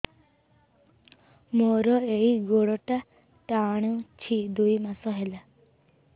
ମୋର ଏଇ ଗୋଡ଼ଟା ଟାଣୁଛି ଦୁଇ ମାସ ହେଲା